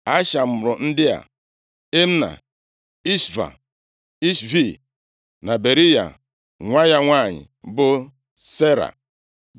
Asha mụrụ ndị a: Imna, Ishva, Ishvi na Beriya. Nwa ya nwanyị bụ Sera.